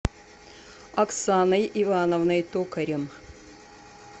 оксаной ивановной токарем